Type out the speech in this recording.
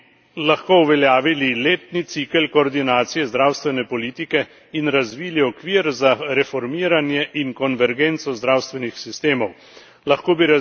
Tako bi lahko uveljavili letni cikel koordinacije zdravstvene politike in razvili okvir za reformiranje in konvergenco zdravstvenih sistemov.